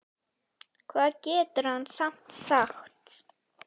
Hvað getur hann samt sagt?